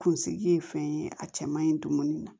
Kunsigi ye fɛn ye a cɛ man ɲi dumuni na